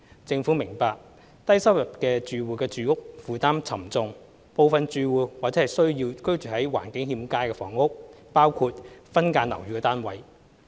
政府明白低收入住戶住屋負擔沉重，部分住戶或需租住居住在環境欠佳的房屋，包括分間樓宇單位。